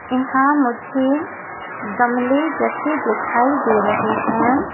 यहां मुझे गमले रखे दिखाई दे रहे हैं।